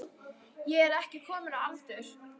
Ég er ekki komin á aldur.